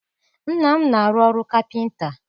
Nna m na-arụ ọrụ kapịnta.